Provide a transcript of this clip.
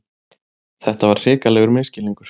Þetta var hrikalegur misskilningur!